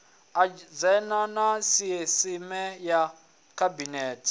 adzhenda ya sisieme ya khabinete